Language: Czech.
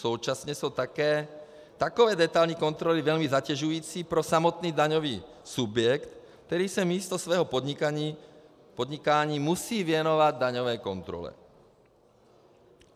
Současně jsou také takové detailní kontroly velmi zatěžující pro samotný daňový subjekt, který se místo svého podnikání musí věnovat daňové kontrole.